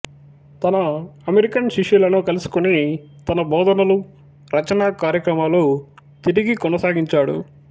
తన అమెరికన్ శిష్యులను కలుసుకుని తన బోధనలు రచనా కార్యక్రమాలు తిరిగి కొనసాగించాడు